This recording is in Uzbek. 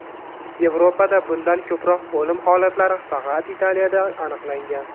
Yevropada bundan ko‘proq o‘lim holatlari faqat Italiyada aniqlangan.